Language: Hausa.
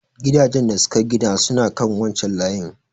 Gidajan da suka gida suna kan wancan layin.